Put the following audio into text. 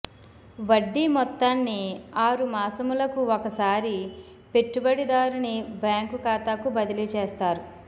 వడ్డీ మొత్తాన్ని ఆరు మాసములకు ఒకసారి పెట్టుబడి దారుని బ్యాంకు ఖాతాకు బదిలీ చేస్తారు